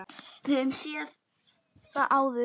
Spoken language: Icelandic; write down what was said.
Við höfum séð það áður.